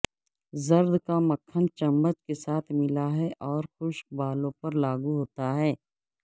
زرد کا مکھن چمچ کے ساتھ ملا ہے اور خشک بالوں پر لاگو ہوتا ہے